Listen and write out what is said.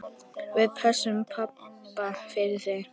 Við pössum pabba fyrir þig.